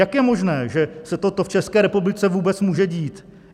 Jak je možné, že se toto v České republice vůbec může dít?